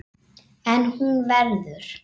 En hún verður.